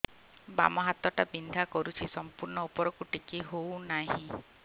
ବାମ ହାତ ଟା ବିନ୍ଧା କରୁଛି ସମ୍ପୂର୍ଣ ଉପରକୁ ଟେକି ହୋଉନାହିଁ